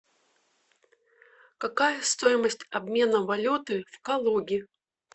какая стоимость обмена валюты в калуге